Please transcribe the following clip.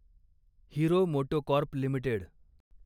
hero MotoCorp limited